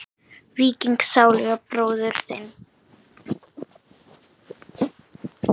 Víking sáluga bróður þinn?